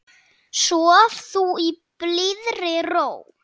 Sof þú í blíðri ró.